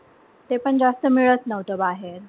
तेपण जास्त मिळत नव्हतं बाहेर.